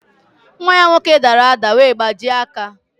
Nwa ya nwoke dara ádá wee gbajie aka.